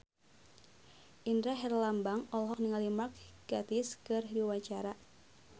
Indra Herlambang olohok ningali Mark Gatiss keur diwawancara